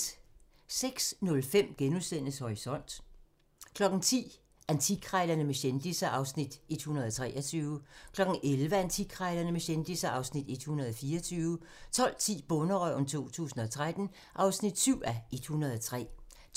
06:05: Horisont * 10:00: Antikkrejlerne med kendisser (Afs. 123) 11:00: Antikkrejlerne med kendisser (Afs. 124) 12:10: Bonderøven 2013 (7:103)